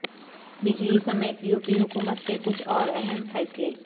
بجلی سمیت یوپی حکومت کے کچھ اور اہم فیصلے